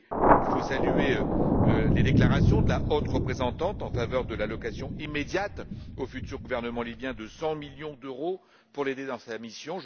Il faut saluer les déclarations de la haute représentante en faveur de l'attribution immédiate au futur gouvernement libyen de 100 millions d'euros pour l'aider dans sa mission.